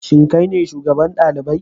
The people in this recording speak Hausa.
Shin kai ne shugaban dalibai?